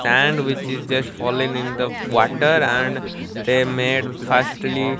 sandwich is just falling in the water and they made fastly --